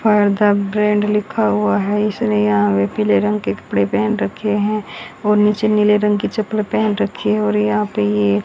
fire the brand लिखा हुआ है इसने यहां पीले रंग के कपड़े पेहन रखे हैं और नीचे नीले रंग की चप्पल पेहन रखी है और यहां पर यह--